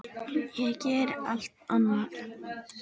Ég geri allt annað.